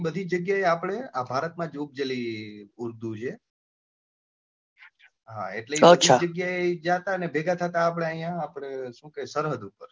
બધી જગ્યા આપડે આ ભારત માં જ જાળી ઉર્દુ છે, હા એટલે એક જ જગ્યા જતા અને ભેગા થતા આપડે અહિયાં શું કે સરહદ પર,